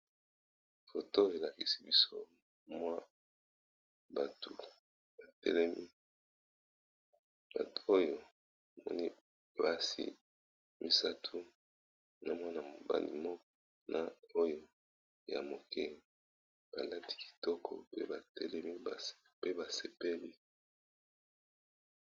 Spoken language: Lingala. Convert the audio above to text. foto elakisi biso mwa bato batelemi bato oyo moni basi misat na mwana bni m na oyo ya moke balati kitoko batelemi pe basepeli